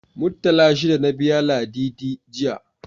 Muttala shida na biya Ladidi, jiya.